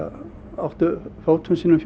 áttu fótum sínum fjör